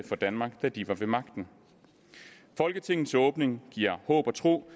for danmark da de var ved magten folketingets åbning giver håb og tro